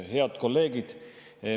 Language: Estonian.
Head kolleegid!